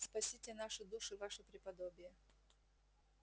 спасите наши души ваше преподобие